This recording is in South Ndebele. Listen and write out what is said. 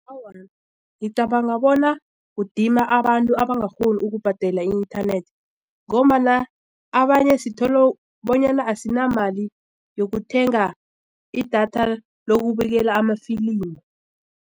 Awa, ngicabanga bona udima abantu abangakghoni ukubhadela i-inthanethi ngombana abanye sithole bonyana asinamali yokuthenga idatha lokubukela amafilimu.